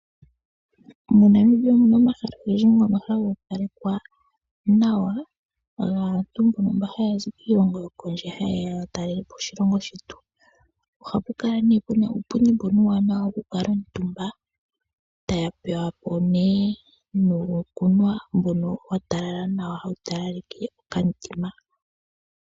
Monamibia omuna omahala ogendji ngono haga opalekwa nawa. gaantu mba haazi kiilongo yokondje hayeya yatalelepo oshilongo shetu, ohapukala nee puna uupundi mbono uuwanawa wokukula omutumba, taya pewapo nee nuukunwa watalala nawa mbono hawu talaleke okamutima.